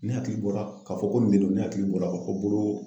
Ne hakili bɔra ka fɔ ko nin de do ne hakili bɔra ka fɔ ko bolo